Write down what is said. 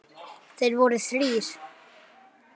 Þeir voru þrír.